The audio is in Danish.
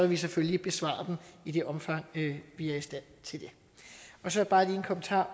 vi selvfølgelig besvare dem i det omfang vi er i stand til det så bare lige en kommentar